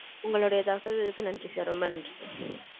உங்களோடைய தகவல்களுக்கு நன்றி sir ரொம்ப நன்றி.